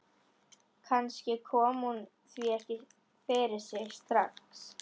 Kannski kom hún því ekki fyrir sig strax.